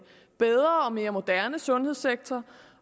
bedre og mere moderne sundhedssektor